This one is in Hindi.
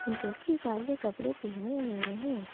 जो कि काले कपड़े पहने हुए हैं ।